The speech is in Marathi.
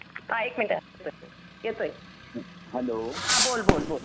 हां एक मिनिटं येतोय हां बोल बोल बोल